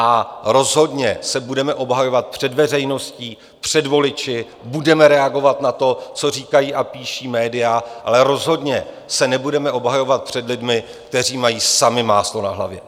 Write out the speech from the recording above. A rozhodně se budeme obhajovat před veřejností, před voliči, budeme reagovat na to, co říkají a píší média, ale rozhodně se nebudeme obhajovat před lidmi, kteří mají sami máslo na hlavě.